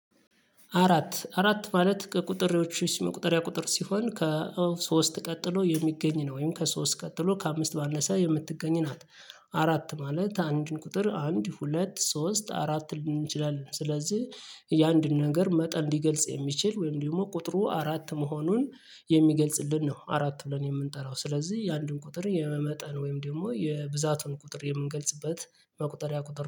አራት አራት ማለት ከቁጥሬዎቹ መቁጠሪያ ቁጥር ሲሆን ከሶስት ቀጥሎ የሚገኝ ነው ወይም ከሶስት ቀጥሎ ከአምስት ባነሰ የምትገኝ ናት። አራት ማለት አንድን ቁጥር አንድ ሁለት ሶስት አራት ልንል እንችላለን ስለዚህ። የአንድን ነገር መጠን ሊገልጽ የሚችል ወይም ደግሞ ቁጥሩ አራት መሆኑን የሚገልጽልን ነው። አራት ብለን የምንጠራው ስለዚህ የአንድን ቁጥር የመመጠን ወይም ደግሞ የብዛቱን ቁጥር የምንገልጽበት መቁጠሪያ ቁጥር